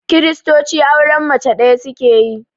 Kiristoci auren mace ɗaya suke yi